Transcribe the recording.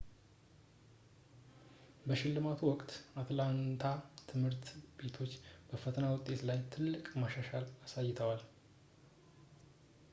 በሽልማቱ ወቅት የአትላንታ ትምህርት ቤቶች በፈተና ውጤቶች ላይ ትልቅ መሻሻል አሳይተዋል